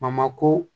Mamako